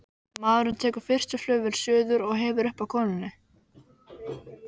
Maðurinn tekur fyrstu flugvél suður og hefur upp á konunni.